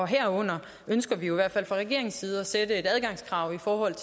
herunder ønsker vi jo i hvert fald fra regeringens side at sætte et adgangskrav for at